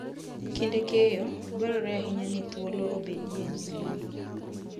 Kinde keyo, dwarore ahinya ni thuolo obedie ne lum.